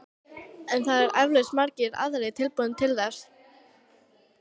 En það eru eflaust margir aðrir tilbúnir til þess.